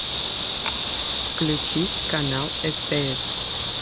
включить канал стс